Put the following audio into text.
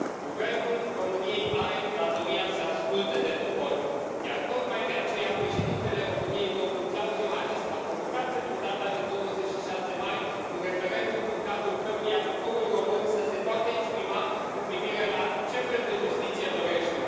Guvernul României are datoria să asculte de popor, iar tocmai de aceea președintele României, domnul Klaus Johannis, a convocat pentru data de 26 mai un referendum în cadrul căruia poporul român să se poată exprima cu privire la ce fel de justiție dorește.